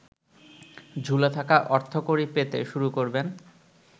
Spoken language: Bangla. ঝুলে থাকা অর্থকড়ি পেতে শুরু করবেন।